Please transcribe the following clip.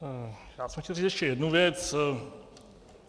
Já jsem chtěl říct ještě jednu věc.